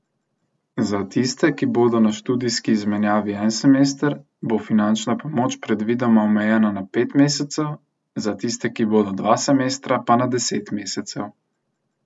Za tiste, ki bodo na študijski izmenjavi en semester, bo finančna pomoč predvidoma omejena na pet mesecev, za tiste, ki bodo dva semestra, pa na deset mesecev.